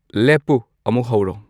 ꯂꯦꯞꯄꯨ ꯑꯃꯨꯛ ꯍꯧꯔꯣ